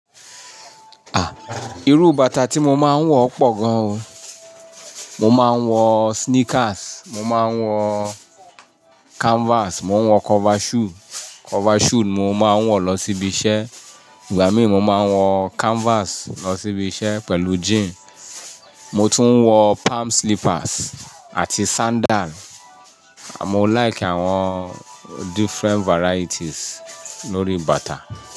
Ah, irú bàtà tí mo máa ń wọ pọ̀ gan o. Mo máa ń wọ sneakers, mo máa ń wọ canvas, mo ń wọ cover shoe. Cover shoe ni mo máa ń wọ lọ síbi iṣẹ́. Igba mii mo máa ń wọ canvas lọ sí ibi iṣẹ́ pẹ̀lú jeans. Mo tún ń wọ palm slippers àti sandal. À mo like àwọn different varieties lórí bàtà.